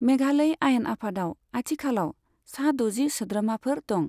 मेघालय आयेन आफादाव आथिखालाव सा द'जि सोद्रोमाफोर दं।